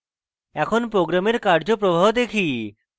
এখন program কার্যপ্রবাহ দেখি